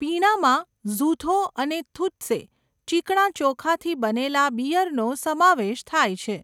પીણાંમાં ઝુથો અને થુત્સે, ચીકણા ચોખાથી બનેલા બીયરનો સમાવેશ થાય છે.